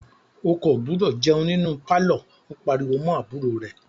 O kò gbúdọ̀ jẹun nínú pálọ̀! ó pariwo mọ́ àbúrò rẹ̀.